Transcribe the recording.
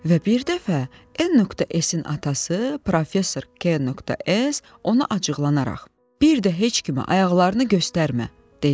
Və bir dəfə N.S-in atası, professor K.S ona acıqlanaraq: Bir də heç kimə ayaqlarını göstərmə, dedi.